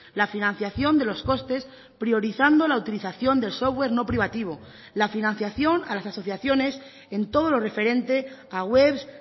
la financiación de los costes priorizando la utilización del software no privativo la financiación a las asociaciones en todo lo referente a webs